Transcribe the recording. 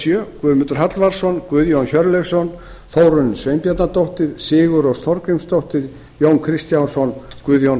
sjö guðmundur hallvarðsson guðjón hjörleifsson þórunn sveinbjarnardóttir sigurrós þorgrímsdóttir jón kristjánsson guðjón